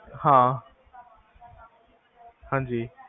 ਹਾਂ ਹਾਂਜੀ